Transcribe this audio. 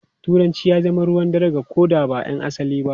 Turanci ya zama ruwan dare ga ko da ba ’yan asalin ba.